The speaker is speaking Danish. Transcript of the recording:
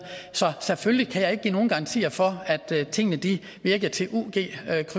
så selvfølgelig kan jeg ikke give nogen garantier for at tingene virker til ug